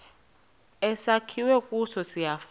esakhiwe kuso siyafana